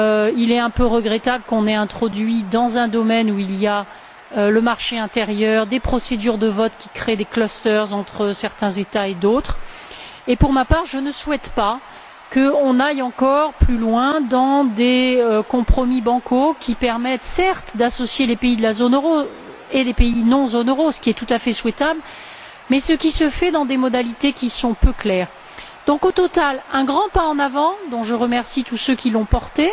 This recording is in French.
Il est un peu regrettable qu'on ait introduit, dans un domaine où il y a le marché intérieur, des procédures de vote qui créent des clusters entre certains États et d'autres et, pour ma part, je ne souhaite pas qu'on aille encore plus loin dans des compromis bancals qui permettent, certes, d'associer les pays de la zone euro et les pays extérieurs à la zone euro, ce qui est tout à fait souhaitable, mais ce qui se fait selon des modalités peu claires. C'est donc, tout bien considéré, un grand pas en avant, dont je remercie tous ceux qui l'ont porté